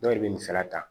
Dɔw de bɛ nin fɛnɛ ta